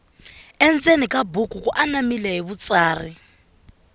endzeni ka buku ku anamile hi vutsari